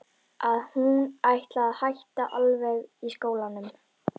Að hún ætlaði að hætta alveg í skólanum.